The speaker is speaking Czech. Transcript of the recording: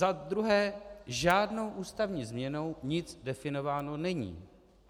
Za druhé, žádnou ústavní změnou nic definováno není.